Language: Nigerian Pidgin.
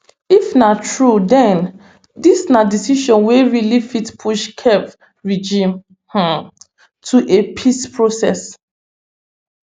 if na true den dis na decision wey really fit push kyiv regime um to a peace process